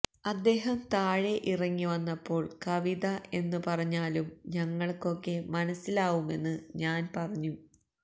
അദ്ദേഹം താഴെ ഇറങ്ങിവന്നപ്പോള് കവിത എന്ന് പറഞ്ഞാലും ഞങ്ങള്ക്കൊക്കെ മനസ്സിലാവുമെന്ന് ഞാന് പറഞ്ഞു